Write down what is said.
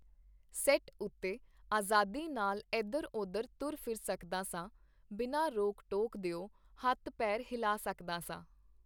Set ਉਤੇ ਆਜ਼ਾਦੀ ਨਾਲ ਏਧਰ ਓਧਰ ਤੁਰ ਫਿਰ ਸਕਦਾ ਸਾਂ, ਬਿਨਾਂ ਰੋਕ-ਟੋਕ ਦਿਓ ਹੱਥ-ਪੇਰ ਹਿਲਾ ਸਕਦਾ ਸਾਂ.